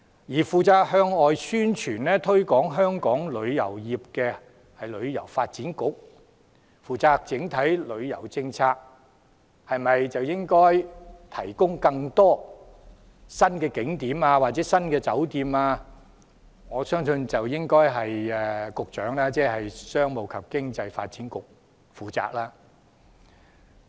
至於向外宣傳、推廣香港旅遊業，則由旅遊發展局負責；而整體旅遊政策、考慮應否提供更多新景點或新酒店等，我相信應由商務及經濟發展局負責。